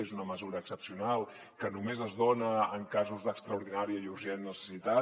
és una mesura excepcional que només es dona en casos d’extraordinària i urgent necessitat